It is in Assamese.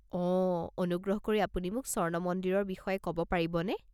অ', অনুগ্ৰহ কৰি আপুনি মোক স্বৰ্ণ মন্দিৰৰ বিষয়ে ক'ব পাৰিবনে?